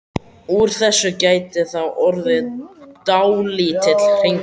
Úr þessu gæti þá orðið dálítill hringur.